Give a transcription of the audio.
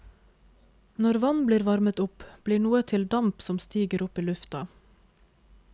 Når vann blir varmet opp, blir noe til damp som stiger opp i lufta.